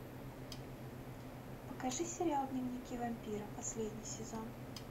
покажи сериал дневники вампира последний сезон